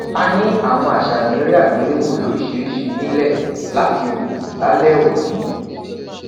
a ni awọn aṣayan ere agbelewo loriṣiriṣi nilẹ lati wo lalẹ oni